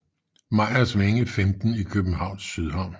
Meyers Vænge 15 i Københavns Sydhavn